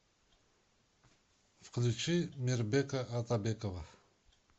включи мирбека атабекова